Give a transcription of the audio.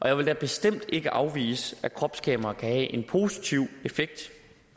jeg vil da bestemt ikke afvise at kropskamera kan have en positiv effekt